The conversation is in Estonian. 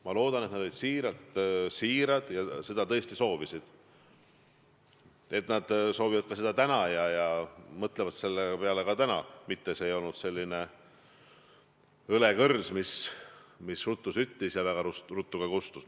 Ma loodan, et nad olid siirad ja seda tõesti soovisid ja et nad soovivad seda ka täna ja mõtlevad selle peale ka täna, mitte see ei olnud õlekõrs, mis ruttu süttis ja väga ruttu ka kustus.